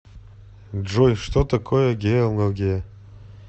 джой что такое геология